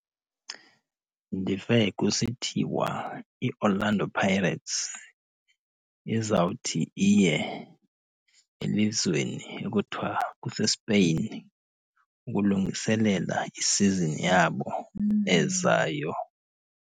Ndive kusithiwa iOrlando Pirates izawuthi iye elizweni ekuthiwa kuseSpain ukulungiselela i-season yabo ezayo.